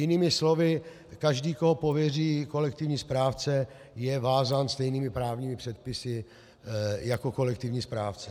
Jinými slovy, každý, koho pověří kolektivní správce, je vázán stejnými právními předpisy jako kolektivní správce.